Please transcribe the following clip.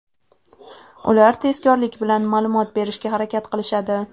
Ular tezkorlik bilan ma’lumot berishga harakat qilishadi.